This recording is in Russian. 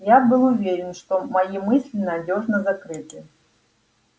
я был уверен что мои мысли надёжно закрыты